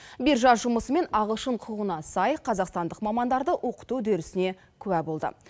биржа жұмысымен ағылшын құқығына сай қазақстандық мамандарды оқыту үдерісіне куә болды